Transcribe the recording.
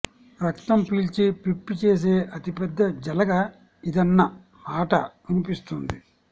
రక్తం పీల్చి పిప్పి చేసే అతి పెద్ద జలగ ఇదన్న మాటా వినిపిస్తోంది